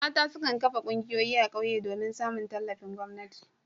Mata su kan kafa ƙungiyoyi a ƙauyuka domin samun tallafin gwamnati.